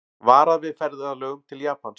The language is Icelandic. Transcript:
Varað við ferðalögum til Japans